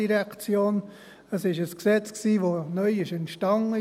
Es ist ein Gesetz, das neu entstanden ist.